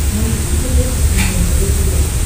найти на смотрешке канал нтв сериал